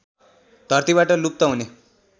धरतीबाट लुप्त हुने